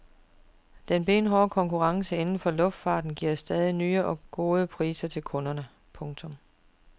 Den benhårde konkurrence inden for luftfarten giver stadig nye og gode priser til kunderne. punktum